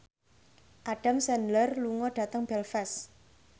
Adam Sandler lunga dhateng Belfast